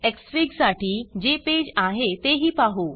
Xfig साठी जे page आहे तेही पाहु